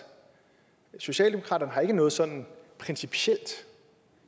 socialdemokratiet har ikke noget sådan principielt